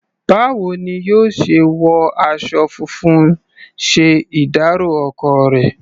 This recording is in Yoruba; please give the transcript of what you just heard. Báwo ni yóò ṣe wọ aṣọ funfun ṣe ìdárọ̀ ọkọ rẹ̀?